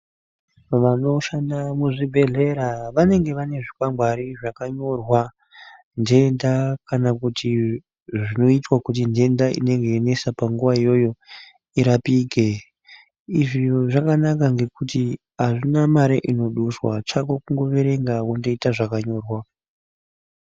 Vanoshanda muzvibhedhlera vanenge vanezvikwangwari zvakanyorwa ndenda kana kuti zvinoitwa kuti ndenda inenge yeinesa panguwa iyoyo irapike. Izvi zviro zvakanaka ngekuti azvina mare inoduswa chako kungoverenga wondoita zvakanyorwa.